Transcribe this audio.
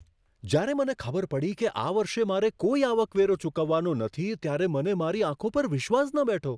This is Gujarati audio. જ્યારે મને ખબર પડી કે આ વર્ષે મારે કોઈ આવકવેરો ચૂકવવાનો નથી, ત્યારે મને મારી આંખો પર વિશ્વાસ ન બેઠો.